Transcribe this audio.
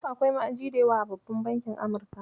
Akwai ma'aji da yawa a babban bankin Amurka.